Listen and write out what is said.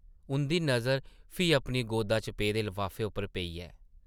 उंʼदी नज़र फ्ही अपनी गोदा च पेदे लफाफे उप्पर पेई ऐ ।